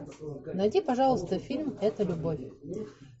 найди пожалуйста фильм это любовь